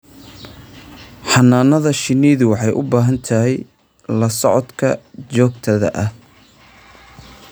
Xannaanada shinnidu waxay u baahan tahay la socodka joogtada ah.